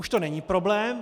Už to není problém.